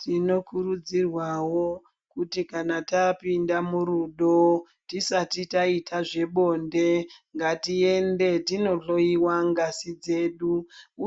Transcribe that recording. Tinokurudzirwawo kuti kana tapinda murudo tisati taita zvebonde ngatiende tinohloyiwa ngazi dzedu